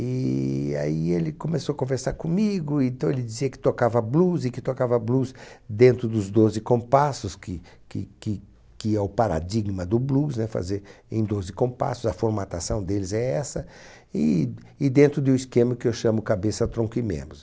E aí ele começou a conversar comigo, então ele dizia que tocava blues e que tocava blues dentro dos doze compassos, que que que que é o paradigma do blues, né? Fazer em doze compassos, a formatação deles é essa, e e dentro do esquema que eu chamo cabeça, tronco e membros.